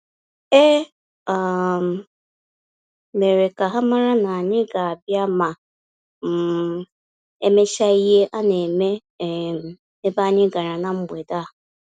E um merem ka ha mara na-anyị ga abia ma um emecha ihe a-na eme um ebe anyị gara na mgbede a